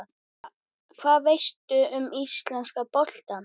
Hvað veistu um íslenska boltann?